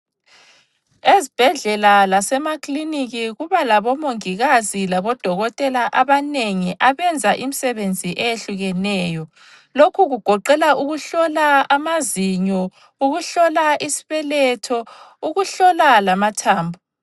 Ezibhedlela lasemakiliniki kuba labomongikazi labodokotela abanengi abenza imisebenzi eyehlukeneyo. Lokhu kugoqela ukuhlola amazinyo, ukuhlola isibeletho, ukuhlola lamathambo.